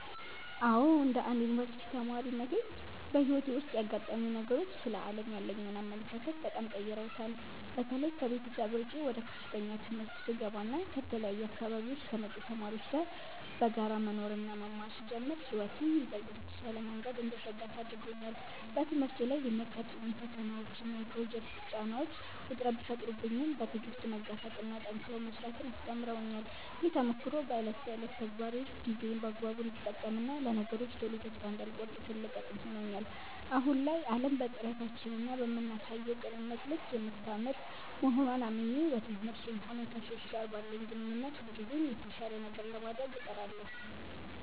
አዎ፣ እንደ አንድ የዩኒቨርሲቲ ተማሪነቴ በሕይወቴ ውስጥ ያጋጠሙኝ ነገሮች ስለ ዓለም ያለኝን አመለካከት በጣም ቀይረውታል። በተለይ ከቤተሰብ ርቄ ወደ ከፍተኛ ትምህርት ስገባና ከተለያዩ አካባቢዎች ከመጡ ተማሪዎች ጋር በጋራ መኖርና መማር ስጀምር ሕይወትን ይበልጥ በተሻለ መንገድ እንድረዳት አድርጎኛል። በትምህርቴ ላይ የሚያጋጥሙኝ ፈተናዎችና የፕሮጀክት ጫናዎች ውጥረት ቢፈጥሩብኝም፣ በትዕግሥት መጋፈጥንና ጠንክሮ መሥራትን አስተምረውኛል። ይህ ተሞክሮ በዕለት ተዕለት ተግባሬ ውስጥ ጊዜዬን በአግባቡ እንድጠቀምና ለነገሮች ቶሎ ተስፋ እንዳልቆርጥ ትልቅ አቅም ሆኖኛል። አሁን ላይ ዓለም በጥረታችንና በምናሳየው ቅንነት ልክ የምታምር መሆንዋን አምኜ፣ በትምህርቴም ሆነ ከሰዎች ጋር ባለኝ ግንኙነት ሁልጊዜም የተሻለ ነገር ለማድረግ እጥራለሁ።